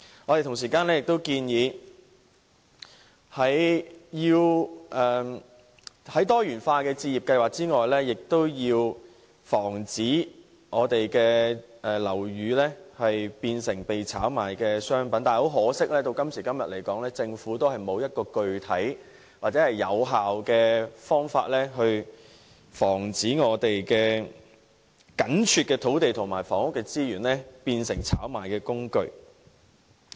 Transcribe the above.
我們亦建議，在多元化的置業計劃外，亦要防止樓宇變成被炒賣的商品，但很可惜，直至今天，政府仍然沒有具體或有效的方法，可以防止我們緊絀的土地和房屋資源變成炒賣工具。